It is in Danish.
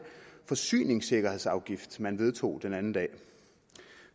forsyningsikkerhedsafgift man vedtog den anden dag